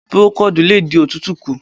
Púrókóòdù lè dí òtútù kù.